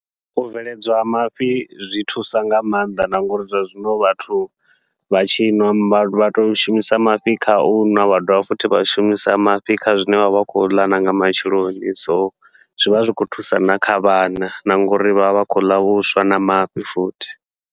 U bveledzwa ha mafhi zwi thusa nga maanḓa, na ngauri zwa zwino vhathu vha tshi nwa vha to shumisa mafhi kha u nwa vha dovha futhi vha shumisa mafhi kha zwine vha vha khou ḽa nanga matsheloni. So zwivha zwi khou thusa na kha vhana, na ngauri vha vha vha khou ḽa vhuswa na mafhi futhi.